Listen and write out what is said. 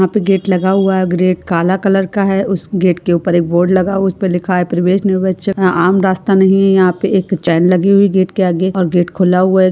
यहाँ पे गेट लगा हुआ है ग्रेट काला कलर का है उस गेट के ऊपर एक बोर्ड लगा उसपे लिखा है प्रवेश निर्वेच यह आम रास्ता नहीं है यहाँ पे एक चेन लगी हुई गेट के आगे और गेट खुला हुआ है।